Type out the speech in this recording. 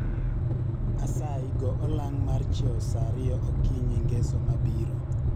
Asayi go olang' mar chiew sa ariyo okinyi ngeso mabiro